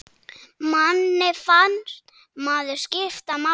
Manni fannst maður skipta máli.